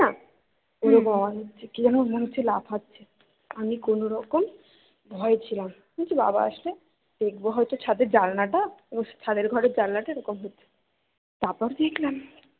কি যেন মনে হচ্ছে লাফাচ্ছে আমি কোনোরকম ভয়ে ছিলাম বাবা আসলে দেখবো হয় তো ছাদের জানলা টা তারপরে দেখলাম